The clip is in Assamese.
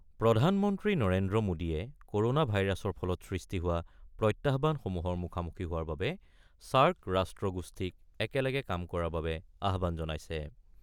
প্ৰধানমন্ত্ৰী নৰেন্দ্ৰ মোদীয়ে ক'ৰনা ভাইৰাছৰ ফলত সৃষ্টি হোৱা প্ৰত্যাহবানসমূহৰ মুখামুখি হোৱাৰ বাবে ছাৰ্ক ৰাষ্ট্ৰ গোষ্ঠীক একেলগে কাম কৰাৰ বাবে আহবান জনাইছে।